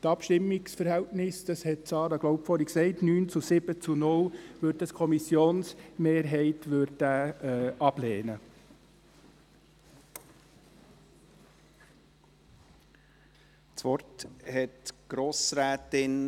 Das Abstimmungsverhältnis betrug – dies hat, so glaube ich, Grossrätin Gabi Schönenberger erwähnt – 9 zu 7 zu 0 Stimmen.